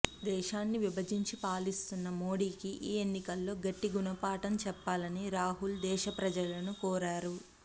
దేశాన్ని విభజించి పాలిస్తున్న మోడీకి ఈ ఎన్నికల్లో గట్టి గుణపాఠం చెప్పాలని రాహుల్ దేశ ప్రజలను కోరారు